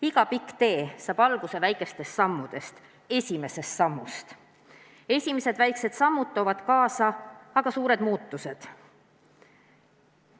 Iga pikk tee saab alguse väikesest sammust, esimesest sammust, esimesed väikesed sammud toovad kaasa aga suured muutused.